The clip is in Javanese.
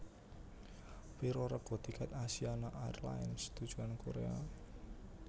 Piro rega tiket Asiana Airlines tujuan Korea?